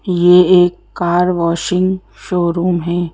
ये एक car washing showroom है।